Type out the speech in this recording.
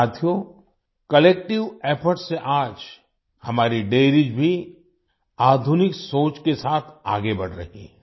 साथियों collective efforts से आज हमारी डेयरीज भी आधुनिक सोच के साथ आगे बढ़ रही है